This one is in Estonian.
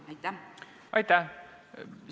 Aitäh!